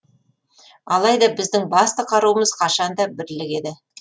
алайда біздің басты қаруымыз қашанда бірлік еді